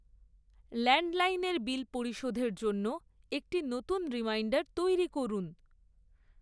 ল্যান্ডলাইনের bill পরিশোধের জন্য একটি নতুন রিমাইন্ডার তৈরি করুন৷